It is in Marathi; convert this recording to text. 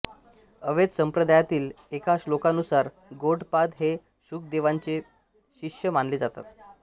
अद्वैत संप्रदायातील एका श्लोकानुसार गौडपाद हे शुकदेवांचे शिष्य मानले जातात